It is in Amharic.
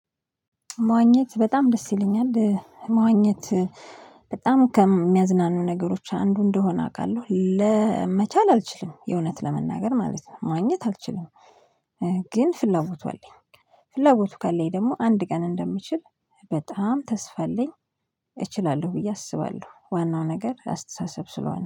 መዋኘት በጣም ደስ ይለኛል። መዋኘት በጣም ከሚያዝናኑ ነገሮች አንዱ እንደሆነ አውቃለሁ ለመቻል አልችልም የእውነት ለመናገር ማለት ነው መዋኘት አልችልም። ግን ፍላጎቱ አለኝ። ፍላጎቱ ካለኝ ደግሞ አንድ ቀን እንደምችል በጣም ተስፋ አለኝ። እችላለሁ ብዬ አስባለሁ ዋናው ነገር አስተሳሰብ ስለሆነ